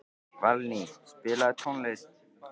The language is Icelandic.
Valný, spilaðu tónlist.